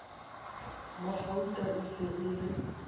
magauta e se e le